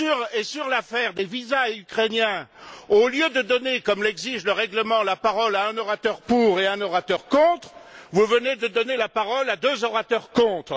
et, sur l'affaire des visas ukrainiens, au lieu de donner, comme l'exige le règlement, la parole à un orateur pour et à un orateur contre, vous venez de donner la parole à deux orateurs contre.